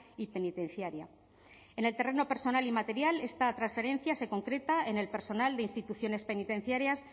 y penitenciaria en el terreno personal y material esta transferencia se concreta en el personal de instituciones penitenciarias